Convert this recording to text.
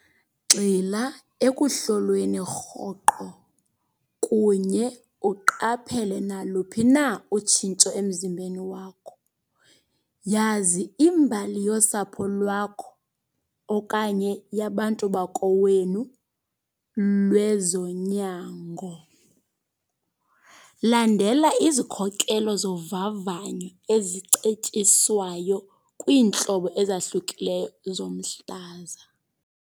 Gxila ekuhlolweni rhoqo kunye uqaphele naluphi na utshintsho emzimbeni wakho. Yazi imbali yosapho lwakho okanye yabantu bakowenu lwezonyango. Landela izikhokelo zovavanyo ezicetyiswayo kwiintlobo ezahlukileyo zomhlaza.